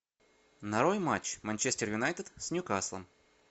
нарой матч манчестер юнайтед с ньюкаслом